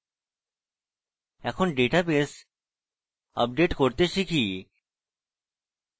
এখন database update করতে শিখি